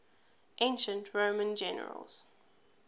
ancient roman generals